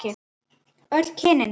Öll kynin?